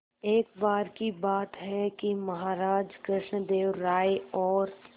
एक बार की बात है कि महाराज कृष्णदेव राय और